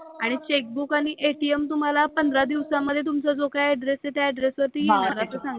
आणि चेकबुक आणि ATM तुम्हाला पंधरा दिवसामध्ये तुमचा जो काय ऍड्रेस आहे त्या ऍड्रेस वरती येईल असं सांगितलं.